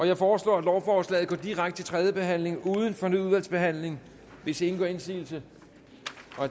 jeg foreslår at lovforslaget går direkte til tredje behandling uden fornyet udvalgsbehandling hvis ingen gør indsigelse